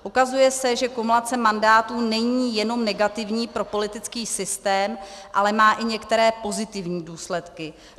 Ukazuje se, že kumulace mandátů není jenom negativní pro politický systém, ale má i některé pozitivní důsledky.